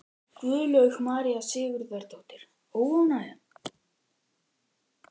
Guðlaug María Sigurðardóttir: Óánægjan?